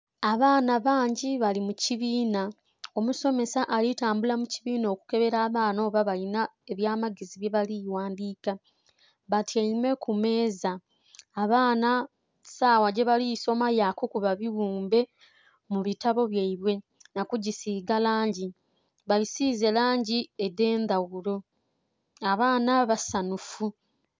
Abaana bangi bali mu kibinha, omusomesa ali tambula mu kiibiina okubonha oba abaana balinha abya magezi bye bali kughandhika batyaime ku meeza. Abaana sawa gye bali kusoma ya kukuba bighumbe mu bitabo byaibwe nha ku bisige langi, babisize langi edhe ndhaghulo abaana basanhufu.